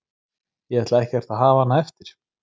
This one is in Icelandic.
Ég ætla ekkert að hafa hana eftir.